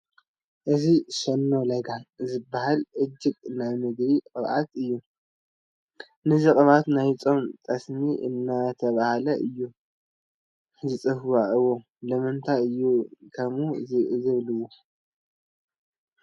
እዚ ሸኖ ለጋ ዝበሃል ዕሹግ ናይ ምግቢ ቅብኣት እዩ፡፡ ነዚ ቅብኣት ናይ ፆም ጠስሚ እንዳበሉ እዮም ዝፅውዕዎ፡፡ ስለምንታይ እዩ ከምኡ ዝብልዎ?